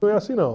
Não é assim não.